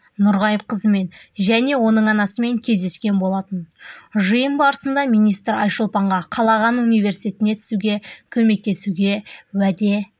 нұрғайыпқызымен және оның анасымен кездескен болатын жиын барысында министр айшолпанға қалаған университетіне түсуге көмектесуге уәде